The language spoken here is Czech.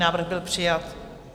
Návrh byl přijat.